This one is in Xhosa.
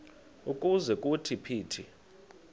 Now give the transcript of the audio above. ukuze kuthi phithi